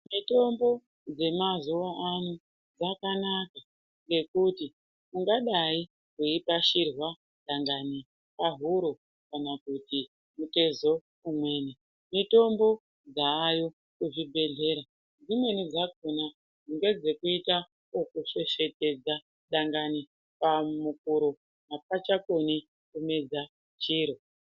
Mitombo yemazuva ano yakanaka ngekuti ungadai weipashirwa dangani kana kuti mutezo umweni. Mitombo yayo kuzvibehleya dzimweni dzakona ngedzekuita zvekusvesvetedza dangani pahuro apachakoni kumedza chiro.